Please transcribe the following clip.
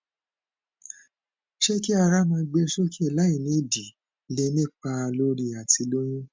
ṣé ki ara maa gbe soke lai nidi lè nípa lórí atilóyún